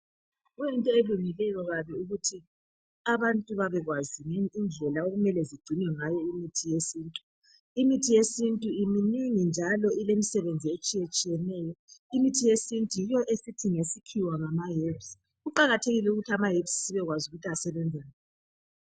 Kuyinto elungileyo kabi ukuthi abantu babekwazi indlela okumele zigcinwe ngayo imithi yesintu. Imithi yesintu iminengi njalo ilezisebenzi etshiyetshiyeneyo. Imithi yesintu yiyo esithi ngesikhiwa ngama herbs. Kuqakathekile ukuthi ama herbs sibekwazi ukuthi asebenzani.